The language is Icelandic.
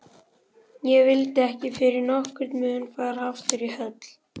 Ég vildi ekki fyrir nokkurn mun fara aftur í höll